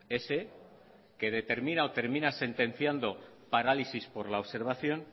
ese que determina o termina sentenciando parálisis por la observación